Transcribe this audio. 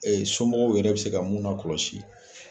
Somɔgɔw yɛrɛ bɛ se ka mun na kɔlɔsi